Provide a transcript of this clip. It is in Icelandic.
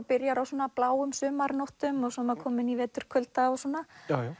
byrjar á svona bláum sumarnóttum og svo er maður kominn í vetrarkulda og svona